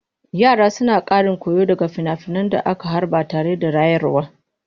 Yara suna ƙarin koyo daga finafinan da aka harba tare da rayarwa.